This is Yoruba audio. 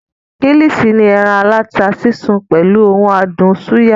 Kílìṣí ni ẹran aláta sísun pẹ̀lú ohun adùn súyà